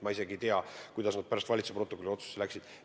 Ma isegi ei tea, kuidas need valitsuse otsuse protokolli kirja läksid.